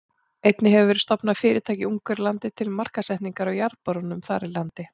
Einnig hefur verið stofnað fyrirtæki í Ungverjalandi til markaðssetningar á jarðborunum þar í landi.